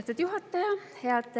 Austatud juhataja!